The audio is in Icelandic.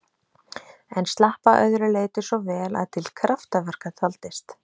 En slapp að öðru leyti svo vel að til kraftaverka taldist.